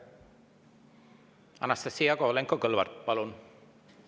Anastassia Kovalenko-Kõlvart, palun!